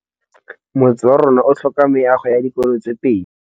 Motse warona o tlhoka meago ya dikolô tse pedi.